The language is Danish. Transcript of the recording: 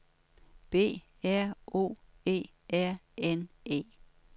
B R O E R N E